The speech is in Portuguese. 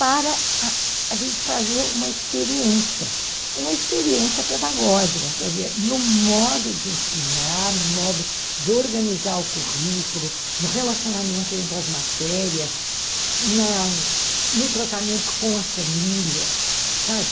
para a gente fazer uma experiência, uma experiência pedagógica, quer dizer, no modo de ensinar, no modo de organizar o currículo, no relacionamento entre as matérias, na, no tratamento com as famílias, sabe?